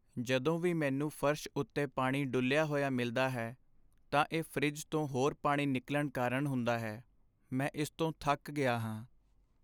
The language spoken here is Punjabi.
ਜਦੋਂ ਵੀ ਮੈਨੂੰ ਫਰਸ਼ ਉੱਤੇ ਪਾਣੀ ਡੁੱਲਿਆ ਹੋਇਆ ਮਿਲਦਾ ਹੈ, ਤਾਂ ਇਹ ਫਰਿੱਜ ਤੋਂ ਹੋਰ ਪਾਣੀ ਨਿਕਲਣ ਕਾਰਨ ਹੁੰਦਾ ਹੈ। ਮੈਂ ਇਸ ਤੋਂ ਥੱਕ ਗਿਆ ਹਾਂ।